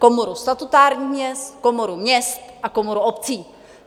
Komoru statutárních měst, Komoru měst a Komoru obcí.